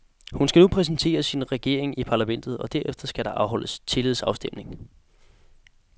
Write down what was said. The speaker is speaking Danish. Hun skal nu præsentere sin regering i parlamentet, og derefter skal der afholdes tillidsafstemning.